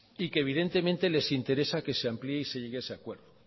y que evidentemente les interesa que se amplíe y se llegue a ese acuerdo